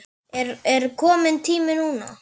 Er kominn tími núna?